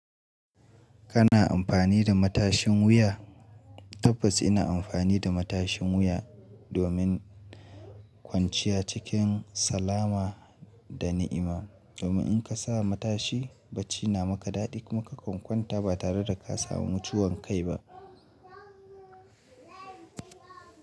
Kana amfani da matashin wuya? Tabbas ina amfani da matashin wuya domin kwanciya cikin salama da ni'ima. Domin in ka sa matashi bacci na maka daɗi kuma ka kan kwanta ba tare da ka samu ciwon kai ba.